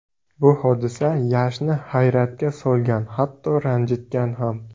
Bu hodisa Yashni hayratga solgan, hatto ranjitgan ham.